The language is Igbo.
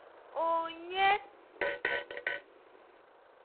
onye,